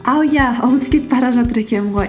ау иә ұмытып кетіп бара жатыр екенмін ғой